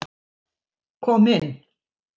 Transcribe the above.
Kom inn.